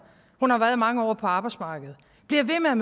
hun har været mange år på arbejdsmarkedet bliver ved med at